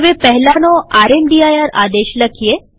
હવે પહેલાનો રામદીર આદેશ લખીએ